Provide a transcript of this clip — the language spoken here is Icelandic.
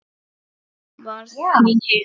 Þú varst mín hetja.